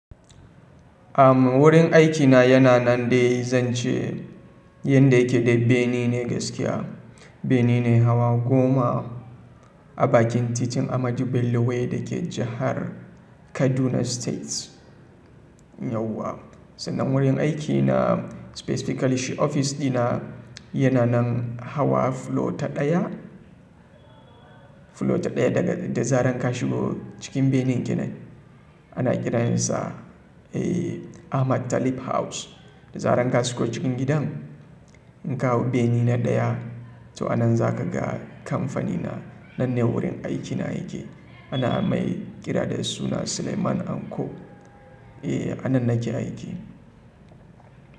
Am wurin aikina yana nan dai zan ce yanda yake dai bene ne gaskiya. Bene ne hawa goma a bakin titin Ahmadu Bello Way da ke jahar Kaduna State yauwa. Sannan wurin aikina specifically ofis dina yana nan hawa flo ta ɗaya, flo ta ɗaya daga da zaren ka shigo cikin benen gidan. Ana kira yasa, eh, Ahmad Talib House. Da zaren ka shigo cikin gidan in ka hau bene na ɗaya to a nan za ka ga kamfanina. Nan ne wurin aikina yake. Ana mai kira da suna Suleiman Anko. Eh, a nan nake aiki.